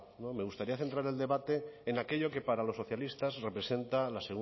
me gustaría centrar el debate en aquello que para los socialistas representa la